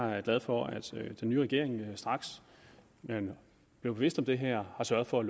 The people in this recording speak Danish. er jeg glad for at den nye regering straks den blev bevidst om det her har sørget for at